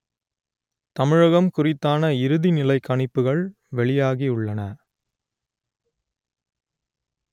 தமிழகம் குறித்தான இறுதிநிலை கணிப்புகள் வெளியாகியுள்ளன